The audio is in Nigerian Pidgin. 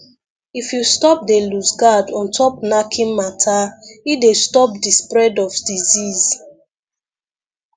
if you stop dey loose guard ontop knacking matter e dey stop di spread of disease